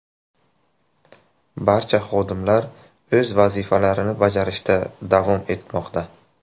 Barcha xodimlar o‘z vazifalarini bajarishda davom etmoqda.